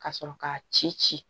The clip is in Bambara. Ka sɔrɔ k'a ci ci